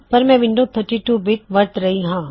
ਪਰ ਮੈਂ window 32 bit ਵਰਤ ਰਿਹਾ